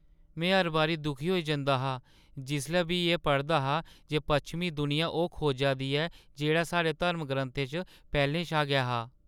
में हर बारी दुखी होई जंदा हा जिसलै बी में एह् पढ़दा हा जे पच्छमीं दुनिया ओह् खोजा दी ऐ जेह्ड़ा साढ़े धर्मग्रंथें च पैह्‌लें शा गै हा।